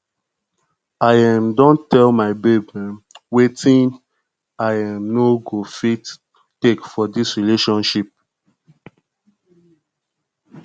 i um don tell my babe um wetin i um no go fit take for dis relationship